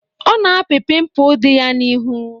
Ọ na-apị pimpụl di ya n'ihu.